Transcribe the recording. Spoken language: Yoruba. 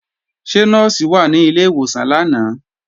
Ṣé Nọ́ọ̀sì wà ní ilé ìwòsàn lánàá?